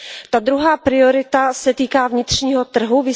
Ta druhá priorita se týká vnitřního trhu.